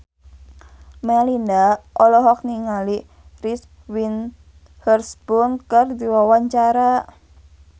Melinda olohok ningali Reese Witherspoon keur diwawancara